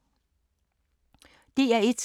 DR1